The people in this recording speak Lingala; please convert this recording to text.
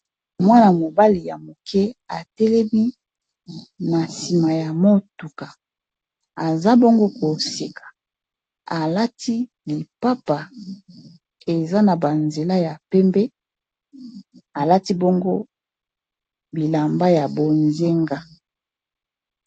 Mwana, mobali ya moke atelemi na nsima ya motuka aza bongo koseka alati mipapa eza na banzela ya pembe alati bongo bilamba ya bonze nga.